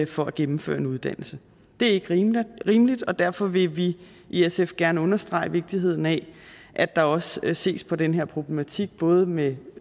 for at gennemføre en uddannelse det er ikke rimeligt rimeligt og derfor vil vi i sf gerne understrege vigtigheden af at der også ses på den her problematik både med